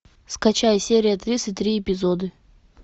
скачай серия тридцать три эпизоды